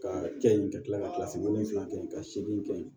Ka kɛ yen ka kila ka kilasi wolonwula kɛ ka segin kɛ yen